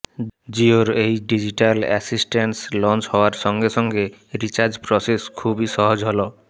জিওর এই digital assistance launch হওয়ার সঙ্গে সঙ্গে রিচার্জ প্রসেস খুবই সহজ হল